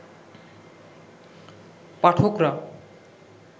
পাঠকরা